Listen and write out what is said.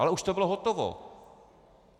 Ale už to bylo hotovo.